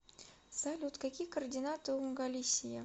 салют какие координаты у галисия